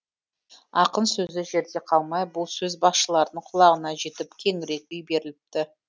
ақын сөзі жерде қалмай бұл сөз басшылардың құлағына жетіп кеңірек үй беріліпті